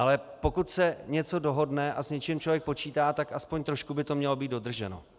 Ale pokud se něco dohodne a s něčím člověk počítá, tak aspoň trošku by to mělo být dodrženo.